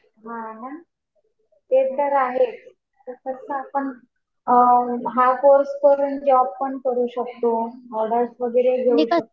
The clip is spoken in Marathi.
हा ना. ते तर आहे. तसं तर आपण हा कोर्स करून जॉब पण करू शकतो. ऑर्डर्स वगैरे घेऊ शकतो.